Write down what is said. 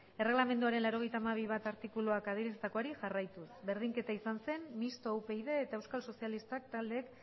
erregelamenduaren laurogeita hamabi puntu bat artikuluak adierazitakoari jarraituz berdinketa izan zen mistoa upyd eta euskal sozialistak taldeek